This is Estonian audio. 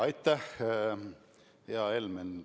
Aitäh, hea Helmen!